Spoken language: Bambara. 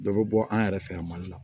Dɔ bɛ bɔ an yɛrɛ fɛ yan mali la